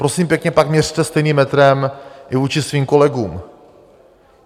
Prosím pěkně, pak měřte stejným metrem i vůči svým kolegům.